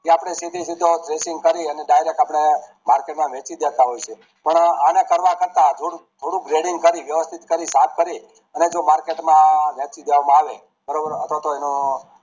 જે આપડે સીધે સીધો Grading કરીને direct આપણે market માં વેચી દેતા હોઈએ છે પણ અને કરવા કરતા થોડુંક થોડુંક રેડુયું કરી વ્યવસ્થિત કરી સાફ કરી અને જે market માં વેચી દેવામાં આવે બરોબર અથવા તો